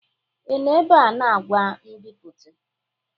Ị nọ ebe a na ngwa nbipute?